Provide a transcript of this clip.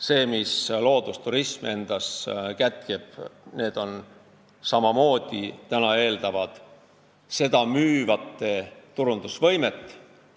See, mida kätkeb endas loodusturism, eeldab samamoodi müügi- ja turundusvõimet.